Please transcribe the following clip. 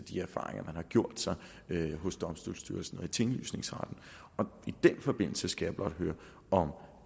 de erfaringer man har gjort sig hos domstolsstyrelsen og i tinglysningsretten i den forbindelse skal jeg blot høre om